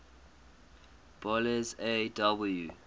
boles aw